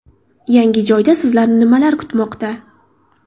Yangi joyda sizni nimalar kutmoqda?.